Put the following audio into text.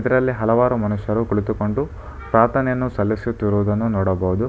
ಇದರಲ್ಲಿ ಹಲವಾರು ಮನುಷ್ಯರು ಕುಳಿತುಕೊಂಡು ಪ್ರಾರ್ಥನೆಯನ್ನು ಸಲ್ಲಿಸುತ್ತಿರುವುದನ್ನು ನೋಡಬಹುದು.